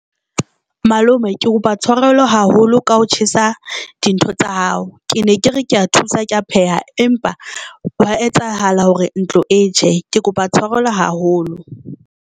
Malome ke kopa tshwarelo haholo ka ho tjhesa dintho tsa hao ke ne ke re ke ya thusa, ke a pheha, empa wa etsahala hore ntlo e tjhe ke kopa tshwarelo haholo.